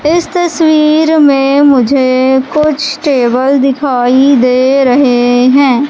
इस तस्वीर में मुझे कुछ टेबल दिखाई दे रहे हैं।